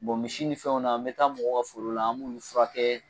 Bɔn misi ni fɛnw na n be taa mɔgɔw ka forow la an b'olu furakɛ